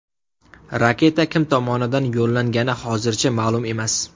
Raketa kim tomonidan yo‘llangani hozircha ma’lum emas.